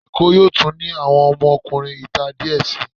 Èkó yóò tún ní àwọn ọmọkunrin ìta díẹ̀ sii.